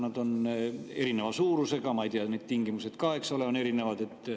Need on erineva suurusega, ma ei tea, ka need tingimused, eks ole, on erinevad.